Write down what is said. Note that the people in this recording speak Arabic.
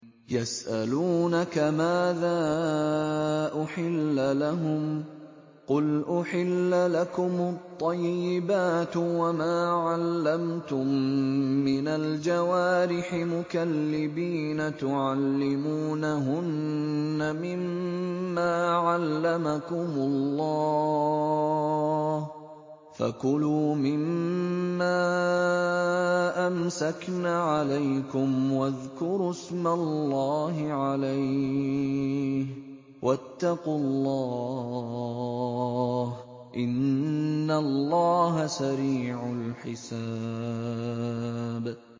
يَسْأَلُونَكَ مَاذَا أُحِلَّ لَهُمْ ۖ قُلْ أُحِلَّ لَكُمُ الطَّيِّبَاتُ ۙ وَمَا عَلَّمْتُم مِّنَ الْجَوَارِحِ مُكَلِّبِينَ تُعَلِّمُونَهُنَّ مِمَّا عَلَّمَكُمُ اللَّهُ ۖ فَكُلُوا مِمَّا أَمْسَكْنَ عَلَيْكُمْ وَاذْكُرُوا اسْمَ اللَّهِ عَلَيْهِ ۖ وَاتَّقُوا اللَّهَ ۚ إِنَّ اللَّهَ سَرِيعُ الْحِسَابِ